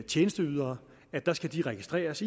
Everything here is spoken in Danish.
tjenesteudbydere skal registreres